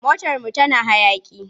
Motarmu tana hayaƙi.